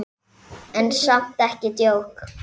En samt ekki djók.